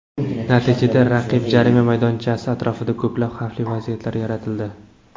Natijada raqib jarima maydonchasi atrofida ko‘plab xavfli vaziyatlar yaratildi.